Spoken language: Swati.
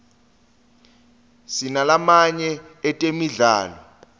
sinalamaye etemidlalo